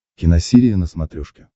киносерия на смотрешке